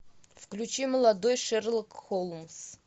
включи молодой шерлок холмс